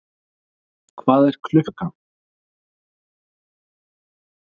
Hvað er klukkan?